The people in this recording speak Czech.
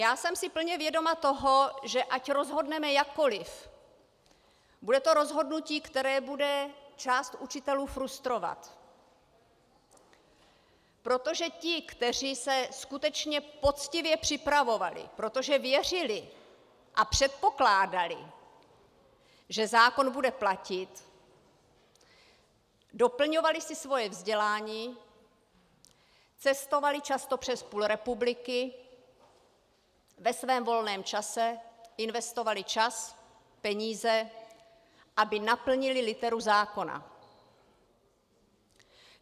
Já jsem si plně vědoma toho, že ať rozhodneme jakkoliv, bude to rozhodnutí, které bude část učitelů frustrovat, protože ti, kteří se skutečně poctivě připravovali, protože věřili a předpokládali, že zákon bude platit, doplňovali si svoje vzdělání, cestovali často přes půl republiky ve svém volném čase, investovali čas, peníze, aby naplnili literu zákona.